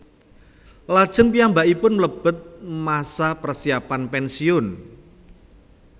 Lajeng piyambakipun mlebet masa persiapan pensiun